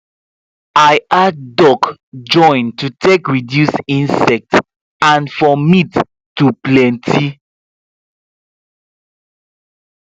i add duck join to take reduce insect and for meat to plenty